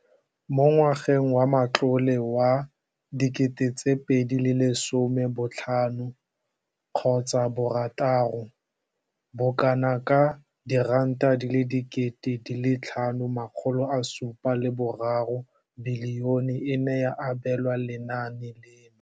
Mo ngwageng wa matlole wa 2015,16, bokanaka R5 703 bilione e ne ya abelwa lenaane leno.